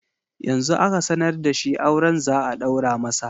Yanzu aka sanar da shi auren za a ɗaura masa